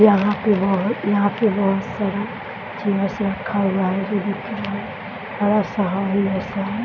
यहाँ पर बहुत यहाँ पर बहुत सारा जिम मशीन रखा हुआ है जो दिख रहा है --